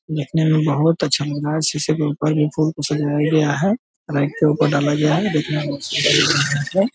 देखने में बहुत अच्छा लग रहा है शीशे के ऊपर देखो उसे सजाया गया है लाइट के ऊपर डाला गया है देखने में बहुत सुन्दर लग रहा है।